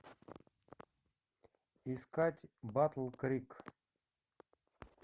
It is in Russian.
искать батл крик